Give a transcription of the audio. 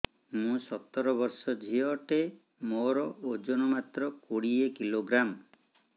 ମୁଁ ସତର ବର୍ଷ ଝିଅ ଟେ ମୋର ଓଜନ ମାତ୍ର କୋଡ଼ିଏ କିଲୋଗ୍ରାମ